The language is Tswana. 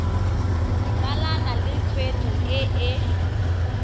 dumalane le tshwetso e e